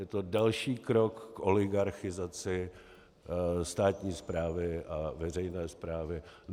Je to další krok k oligarchizaci státní správy a veřejné správy.